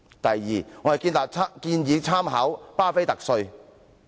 第二，我們建議參考"畢菲特稅"。